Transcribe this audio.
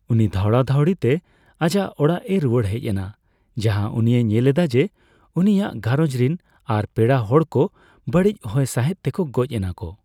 ᱩᱱᱤ ᱫᱷᱟᱣᱲᱟᱼᱫᱷᱟᱣᱲᱤ ᱛᱮ ᱟᱡᱟᱜ ᱟᱲᱟᱜ ᱮ ᱨᱩᱣᱟᱹᱲ ᱦᱮᱡ ᱮᱱᱟ, ᱡᱟᱦᱟᱸᱭ ᱩᱱᱤᱭ ᱧᱮᱞᱮᱫᱮᱭᱟ ᱡᱮ ᱩᱱᱤ ᱭᱟᱜ ᱜᱷᱟᱸᱨᱚᱡᱽ ᱨᱤᱱ ᱟᱨ ᱯᱮᱲᱟ ᱠᱚ ᱵᱟᱲᱤᱪ ᱦᱚᱭ ᱥᱟᱸᱦᱮᱫ ᱛᱮᱠᱚ ᱜᱚᱡᱽ ᱮᱱᱟᱠᱚ ᱾